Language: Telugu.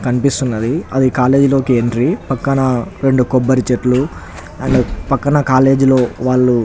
కనిపిస్తున్నది అది కాలేజ్ లోకి ఎంట్రీ పక్కన రెండు కొబ్బరి చెట్లు పక్కన కాలేజ్ లో వాళ్ళు --